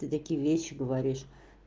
ты такие вещи говоришь